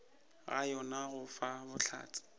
ga yona go fa bohlatse